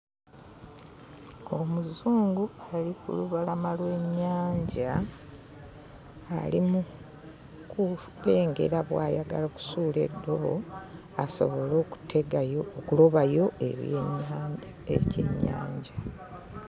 Omuzungu ali ku lubalama lw'ennyanja ali mu kulengera bw'ayagala okusuula eddobo asobole okutegayo okulobayo ebyennyanja ekyennyanja.